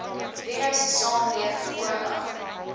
virus saamleef voordat